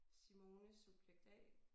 Simone subjekt A